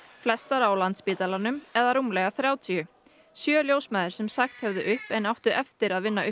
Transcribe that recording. flestar á Landspítalanum eða rúmlega þrjátíu sjö ljósmæður sem sagt höfðu upp en áttu eftir að vinna